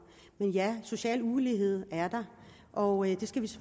men ja der social ulighed og det skal vi